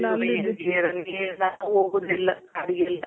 ಹೋಗೋದಿಲ್ಲ ಕಾಡಿಗೆ ಎಲ್ಲ.